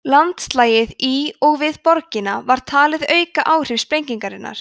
landslagið í og við borgina var talið auka áhrif sprengingarinnar